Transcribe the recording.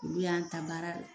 Olu y'an ta baara la